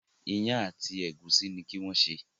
Iyán àti egusi ní kí wón ṣe.